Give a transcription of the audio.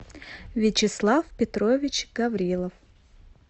вячеслав петрович гаврилов